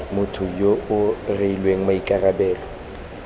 motho yo o rweleng maikarabelo